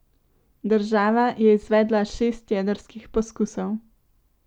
Država je izvedla šest jedrskih poskusov.